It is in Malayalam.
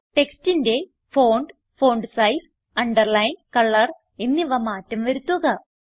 ടെക്സ്റ്റിന്റെ font font size underline colour എന്നിവ മാറ്റം വരുത്തുക